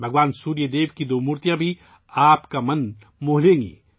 بھگوان سوریا دیو کی دو مورتیاں بھی آپ کو مسحور کر دیں گی